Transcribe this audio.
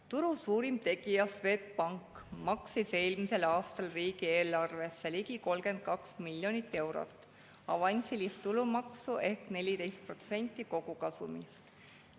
Turu suurim tegija Swedbank maksis eelmisel aastal riigieelarvesse ligi 32 miljonit eurot avansilist tulumaksu ehk 14% kogukasumist.